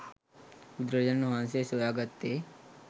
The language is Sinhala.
බුදුරජාණන් වහන්සේ සොයා ගත්තේ